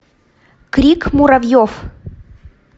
крик муравьев